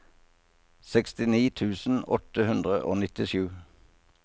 sekstini tusen åtte hundre og nittisju